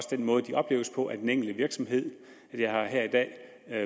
den måde de opleves på af den enkelte virksomhed jeg har her i dag